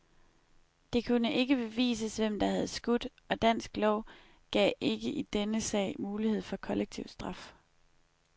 Det kunne ikke bevises, hvem der havde skudt, og dansk lov gav ikke i denne sag mulighed for kollektiv straf.